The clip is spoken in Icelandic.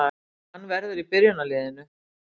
Hann verður í byrjunarliðinu